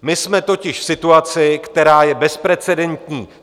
My jsme totiž v situaci, která je bezprecedentní.